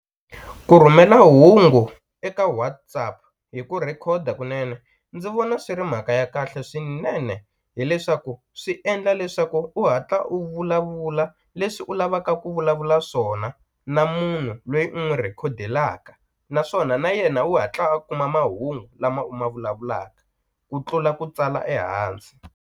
Ku rhumela hungu eka WhatsApp hi ku rhikhoda kunene ndzi vona swi ri mhaka ya kahle swinene hileswaku swi endla leswaku u hatla u vulavula leswi u lavaka ku vulavula swona na munhu lweyi u n'wu rhikhodelaka naswona na yena u hatla a kuma mahungu lama u ma vulavulaka ku tlula ku tsala ehansi.